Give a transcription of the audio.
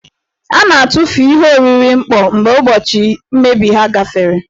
A na-atụfu ihe oriri mkpọ mgbe ụbọchị mmebi ha gafere.